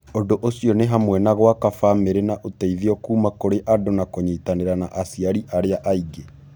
Ũndũ ũcio nĩ hamwe na gwaka famĩrĩ na ũteithio kuuma kũrĩ andũ na kũnyitanĩra na aciari arĩa angĩ.